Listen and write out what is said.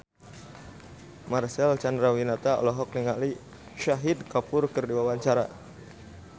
Marcel Chandrawinata olohok ningali Shahid Kapoor keur diwawancara